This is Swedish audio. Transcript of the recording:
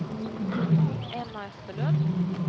Emma Österlund